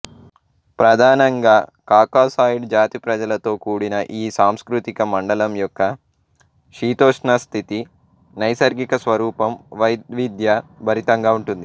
ప్రధానంగా కాకాసాయిడ్ జాతి ప్రజలతో కూడిన ఈ సాంస్కృతిక మండలం యొక్క శీతోష్ణస్థితి నైసర్గిక స్వరూపం వైవిధ్య భరితంగా ఉంటుంది